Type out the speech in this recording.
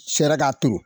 Fɛɛrɛ k'a to